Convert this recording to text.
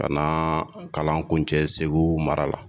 Kana kalan kun cɛ segu mara la